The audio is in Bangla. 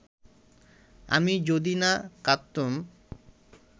আমি যদি না কাঁদতুম